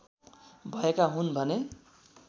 भएका हुन् भने